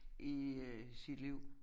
I øh sit liv